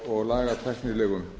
og lagatæknilegum